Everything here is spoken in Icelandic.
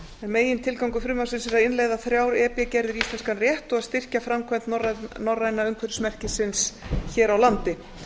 megintilgangur frumvarpsins er að innleiða þrjár e b gerðir í íslenskan rétt og styrkja framkvæmd norræna umhverfismerkisins hér á landi